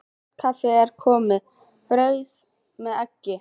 Kvöldkaffið er að koma, brauð með eggi.